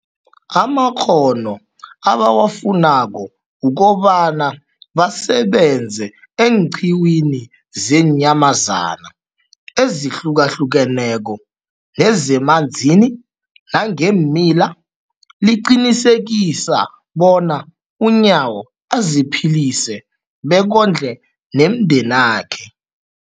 amakghono ebawafunako ukobana basebenze eenqiwini zeenyamazana ezihlukahlukeneko nezemanzini nangeemila, liqinisekisa bona uNyawo aziphilise bekondle nomndenakhe.